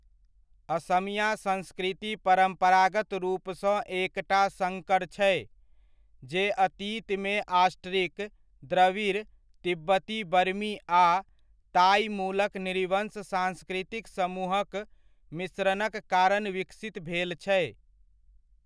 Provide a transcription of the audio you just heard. असमिया संस्कृति परम्परागत रूपसँ एकटा सङ्कर छै, जे अतीतमे ऑस्ट्रिक, द्रविड़, तिब्बती बर्मी आ ताइ मूलक नृवंश सांस्कृतिक समूहक मिश्रणक कारण विकसित भेल छै।